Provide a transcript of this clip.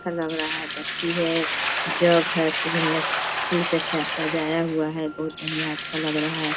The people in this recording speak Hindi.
अच्छा लग रहा है बत्ती है जग है खूब बढ़िया फूल से सजाया हुआ है बहुत बढ़िया अच्छा लग रहा है।